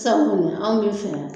Sabu anw bɛ fɛ